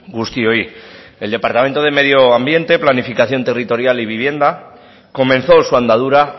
guztioi el departamento de medio ambiente planificación territorial y vivienda comenzó su andadura